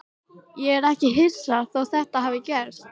Ég er ekkert hissa þótt þetta hafi gerst.